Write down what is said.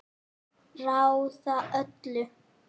Ráða öllu?